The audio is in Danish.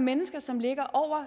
mennesker som ligger over